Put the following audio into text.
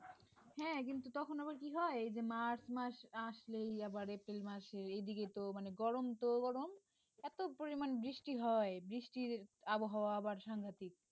হ্যাঁ কিন্তু তখন আবার কি হয় যে March মাস আসলেই আবার April মাসের এদিকে তো মানে গরম তো গরম এত পরিমান বৃষ্টি হয় বৃষ্টির আবহাওয়া আবার সাংঘাতিক